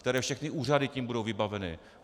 Které všechny úřady tím budou vybaveny?